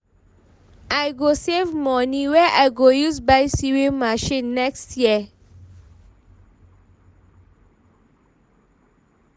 I go save moni wey I go use buy sewing machine next year.